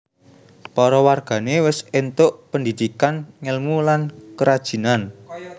Para wargané wis éntuk pendhidhikan ngèlmu lan kerajinan